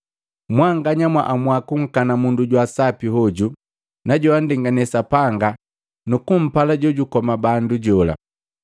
Mwanganya mwaamua kunkana mundu wa sapi hoju na joandengane Sapanga nukupala jojukoma bandu jola.